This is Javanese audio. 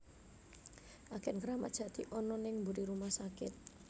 Agen Kramat Jati ono ning mburi rumah sakit